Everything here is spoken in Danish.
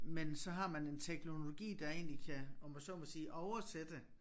Men så har man en teknologi der egentlig kan om jeg så mig sige oversætte